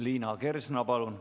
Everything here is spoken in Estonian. Liina Kersna, palun!